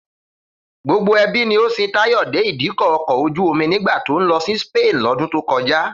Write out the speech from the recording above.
Gbogbo ẹbí ni ó sin Táyọ̀ dé Ìdíkọ̀ ọkọ̀ ojú-omi nígbà tó ń lọ sí Spain lọ́dún tó kọjá